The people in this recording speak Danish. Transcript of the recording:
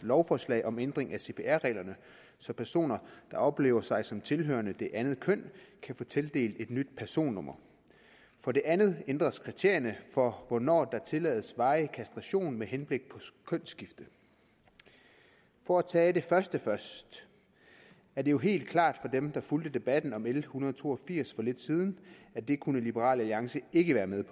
lovforslag om ændring af cpr reglerne så personer der oplever sig som tilhørende det andet køn kan få tildelt et nyt personnummer for det andet ændres kriterierne for hvornår der tillades varig kastration med henblik på kønsskifte for at tage det første først er det jo helt klart for dem der fulgte debatten om l en hundrede og to og firs for lidt siden at det kunne liberal alliance ikke være med